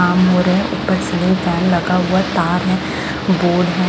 काम हो रहे हैं ऊपर सीलिंग फैन लगा हुआ तार है बोर्ड है।